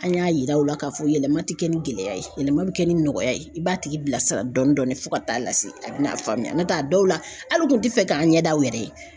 An y'a yira u la k'a fɔ yɛlɛma ti kɛ ni gɛlɛya ye yɛlɛma bɛ kɛ ni nɔgɔya ye i b'a tigi bila sira dɔɔni dɔɔni fo ka taa lase a bɛna faamuya n'o tɛ a dɔw la hali u kun tɛ fɛ k'an ɲɛdaw yɛrɛ ye.